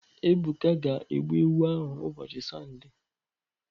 Ebuka ga-egbu ewu ahụ ụbọchị Sọnde.